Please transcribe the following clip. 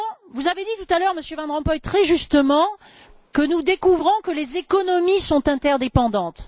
Vous avez dit tout à l'heure, Monsieur Van Rompuy, très justement, que nous découvrons que les économies sont interdépendantes.